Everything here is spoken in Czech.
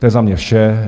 To je za mě vše.